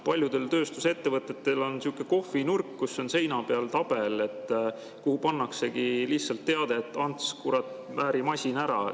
Paljudel tööstusettevõtetel on sihuke kohvinurk, kus on seina peal tabel, kuhu pannaksegi lihtsalt teade "Ants, kurat, määri masin ära!